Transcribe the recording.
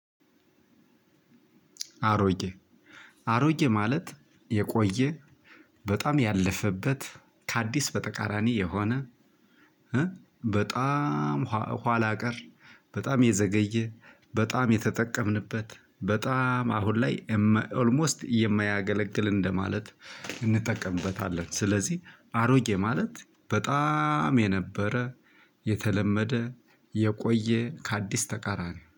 አሮጌ አሮጌ ማለት የቆየ በጣም ያለፈበት ከአዲስ በተቃራኒ የሆነ በጣም ኋላ ቀር በጣም የዘገየ በጣም የተጠቀምንበት በጣም አሁን ላይ ኦልሞስት የማያገለግል እንደማለት እንጠቀምበታለን። ስለዚህ አሮጌ ማለት በጣም የነበረ የተለመደ የቆየ ከአዲስ ተቃራኒ